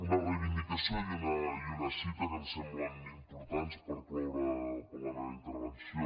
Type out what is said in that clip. una reivindicació i una cita que em semblen importants per cloure la meva intervenció